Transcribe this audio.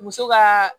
Muso ka